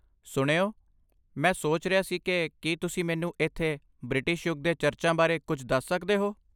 ਸੁਣਿਓ, ਮੈਂ ਸੋਚ ਰਿਹਾ ਸੀ ਕਿ ਕੀ ਤੁਸੀਂ ਮੈਨੂੰ ਇੱਥੇ ਬ੍ਰਿਟਿਸ਼ ਯੁੱਗ ਦੇ ਚਰਚਾਂ ਬਾਰੇ ਕੁਝ ਦੱਸ ਸਕਦੇ ਹੋ?